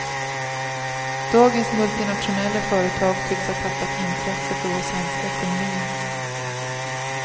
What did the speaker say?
Dagens multinationella företag tycks ha tappat intresse för vår svenska ekonomi.